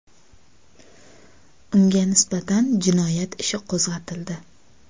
Unga nisbatan jinoyat ishi qo‘zg‘atildi.